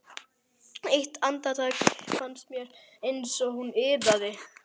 Eitt andartak fannst mér eins og hún iðaði.